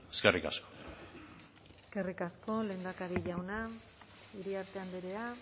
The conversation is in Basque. eskerrik asko eskerrik asko lehendakari jauna iriarte andrea